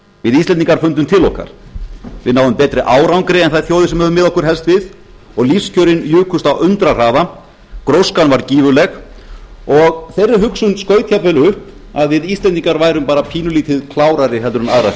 við íslendingar fundum til okkar við náðum betri árangri en þær þjóðir sem við höfum miðað okkur helst við og lífskjörin jukust á undrahraða gróskan var gífurleg og þeirri hugsun skaut upp að við íslendingar værum pínulítið klárari heldur en aðrar